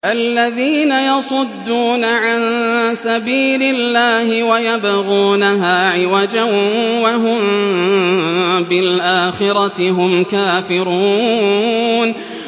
الَّذِينَ يَصُدُّونَ عَن سَبِيلِ اللَّهِ وَيَبْغُونَهَا عِوَجًا وَهُم بِالْآخِرَةِ هُمْ كَافِرُونَ